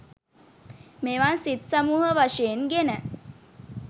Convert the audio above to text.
මෙවන් සිත් සමූහ වශයෙන් ගෙන